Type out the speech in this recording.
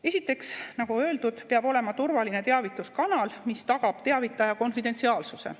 Esiteks, nagu öeldud, peab olema turvaline teavituskanal, mis tagab teavitaja konfidentsiaalsuse.